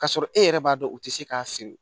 K'a sɔrɔ e yɛrɛ b'a dɔn u tɛ se k'a seri